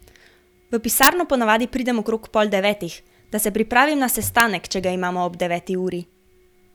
V pisarno ponavadi pridem okrog pol devetih, da se pripravim na sestanek, če ga imamo ob deveti uri.